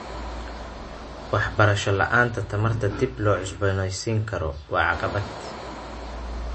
Waxbarasho la'aanta tamarta dib loo cusboonaysiin karo waa caqabad.